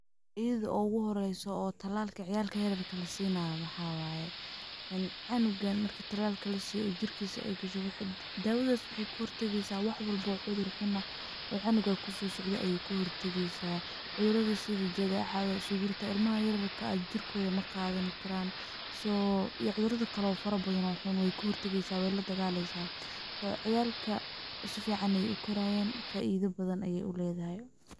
Ida uguhoreysooo talaalka carurta lasinayo waxaa waye, een cunugan marki talalka lasiyo jirkisa ay gasho, dawadas waxay kahor tageysaah wax walbo cudur xun ahaa oo cunugas kusosocdhe ay kahortageysaah, cududrada sidi jadecada, sugurta, ilmaha yaryarka ah jirkoda maqadani karan, so iyo cuduradi kale oo fara badan oo xun weykahor tageysaah wey ladagaleysaah , ciyalka sifican ayay ukorayan, faida bahan ay uledahay.